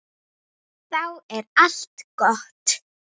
Horfa yfir farinn veg.